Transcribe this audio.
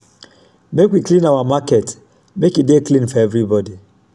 make we clean our market make e dey clean for everybody.